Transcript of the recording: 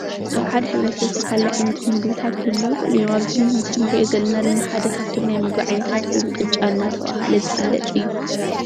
አብ ሓደ ሕብረተሰብ ዝተፈላለዩ ዓይነት ምግብታት ክህልዉ ይኽእሉ እዮም:: ኣብዚ ምስሊ ንሪኦ ዘለና ድማ ሓደ ካብቶም ናይ ምግቢ ዓይነታት ኮይኑ ቅጫ እናተብሃለ ዝፍለጥ እዩ::